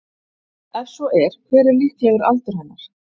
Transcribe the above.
Ef svo er hver er líklegur aldur hennar?